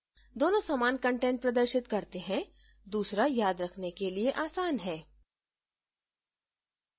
दोनों समान कंटेंट प्रदर्शित करते हैं दूसरा याद रखने के लिए आसन है